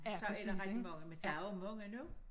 Så er der rigtig mange men der også mange nu